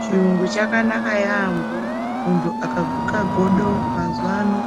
Chiyungu chakanaka yampo. Muntu akaguke godo mazuwa ano,